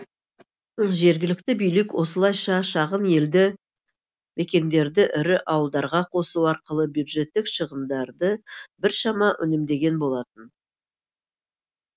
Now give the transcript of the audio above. жергілікті билік осылайша шағын елді мекендерді ірі ауылдарға қосу арқылы бюджеттік шығындарды біршама үнемдеген болатын